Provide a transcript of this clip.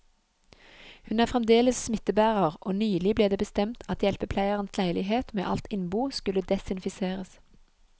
Hun er fremdeles smittebærer, og nylig ble det bestemt at hjelpepleierens leilighet med alt innbo skulle desinfiseres.